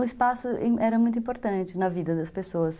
O espaço era muito importante na vida das pessoas.